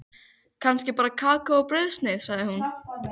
Kannski bara kakó og brauðsneið, sagði hún.